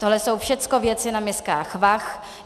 Tohle jsou všechno věci na miskách vah.